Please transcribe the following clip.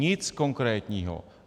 Nic konkrétního.